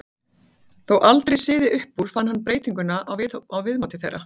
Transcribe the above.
Þótt aldrei syði upp úr fann hann breytingu á viðmóti þeirra.